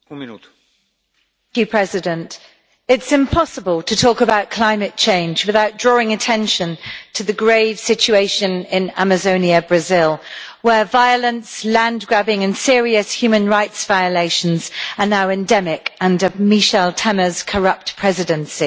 Mr President, it's impossible to talk about climate change without drawing attention to the grave situation in Amazonia, Brazil, where violence, land grabbing and serious human rights violations are now endemic under Michel Temer's corrupt presidency.